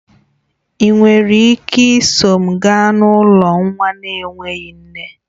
Ị nwere ike iso m gaa n'ụlọ nwa na-enweghị nne?